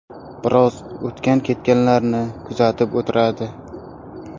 Biroz o‘tgan-ketganlarni kuzatib o‘tiradi.